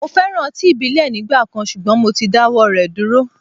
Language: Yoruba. Mo féràn ọtí ìbílẹ̀ nígbà kan, ṣùgbọ́n mo ti dáwọ́ rẹ̀ dúró.